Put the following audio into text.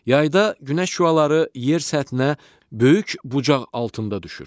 Yayda Günəş şüaları yer səthinə böyük bucaq altında düşür.